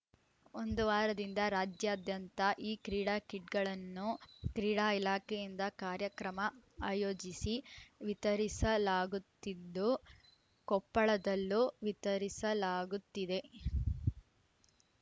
ಒಂದು ವಾರದಿಂದ ರಾಜ್ಯಾದ್ಯಂತ ಈ ಕ್ರೀಡಾ ಕಿಟ್‌ಗಳನ್ನು ಕ್ರೀಡಾ ಇಲಾಖೆಯಿಂದ ಕಾರ್ಯಕ್ರಮ ಆಯೋಜಿಸಿ ವಿತರಿಸಲಾಗುತ್ತಿದ್ದು ಕೊಪ್ಪಳದಲ್ಲೂ ವಿತರಿಸಲಾಗುತ್ತಿದೆ